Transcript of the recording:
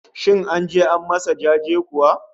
Shin an je an masa jaje kuwa?